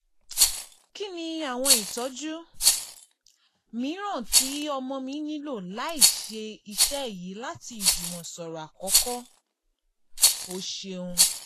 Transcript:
Kini awọn itọju miiran ti ọmọ mi nilo laisi iṣe yii lati ijumọsọrọ akọkọ? o ṣeun!